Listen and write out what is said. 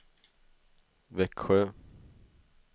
Växjö